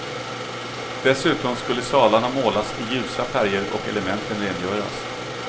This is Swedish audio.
Dessutom skulle salarna målas i ljusa färger och elementen rengöras.